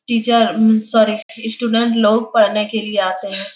Teacher sir student लोग पढ़ने के लिए आते हैं।